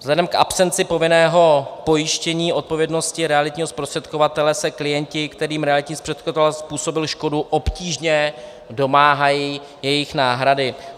Vzhledem k absenci povinného pojištění odpovědnosti realitního zprostředkovatele se klienti, kterým realitní zprostředkovatel způsobil škodu, obtížně domáhají jejich náhrady.